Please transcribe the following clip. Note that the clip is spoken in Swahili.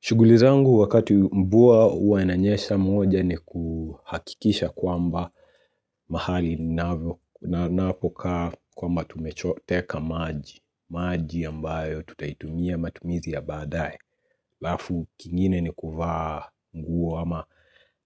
Shughuli zangu wakati mvua uwa inanyesha moja ni kuhakikisha kwamba mahali na napokaa kwamba tumeteka maji. Maji ambayo tutaitumia matumizi ya baadae. Alafu kingine ni kuvaa nguo